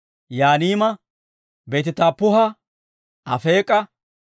Yaaniima, Beeti-Taappuha, Afeek'a,